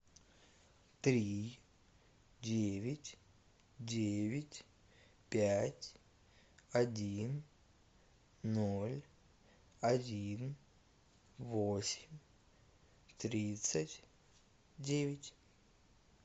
три девять девять пять один ноль один восемь тридцать девять